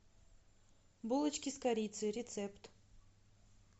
булочки с корицей рецепт